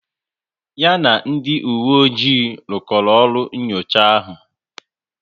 Ya na ndị uwe ojii rukoro ọrụ n'nyocha ahu